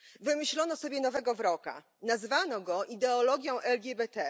Wymyślono sobie nowego wroga nazwano go ideologią LGBT.